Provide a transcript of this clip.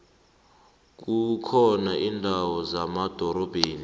kukhona indawo zemadorobheni